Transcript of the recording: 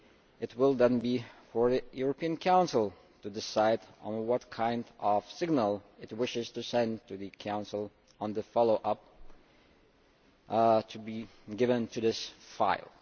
It will then be for the European Council to decide what kind of signal it wishes to send to the Council on the follow up to be given to this file.